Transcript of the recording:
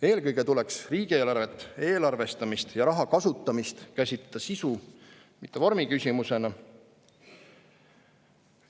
Eelkõige tuleks riigieelarvet, eelarvestamist ja raha kasutamist käsitleda sisu-, mitte vormiküsimusena.